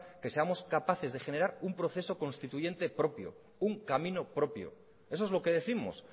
que seamos capaces de generar un proceso constituyente propio un camino propio eso es lo que décimos